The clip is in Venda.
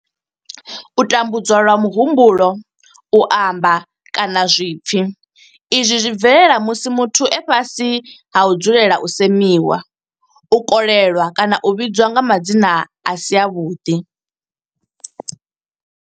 U tambudzwa lwa muhumbulo u amba kana zwipfi Izwi zwi bvelela musi muthu e fhasi ha u dzulela u semiwa u kolelwa kana u vhidzwa nga madzina a si avhuḓi.